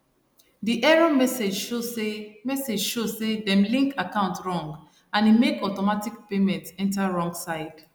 di error message show say message show say dem link account wrong and e make automatic payments enter wrong side